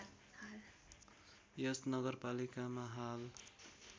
यस नगरपालिकामा हाल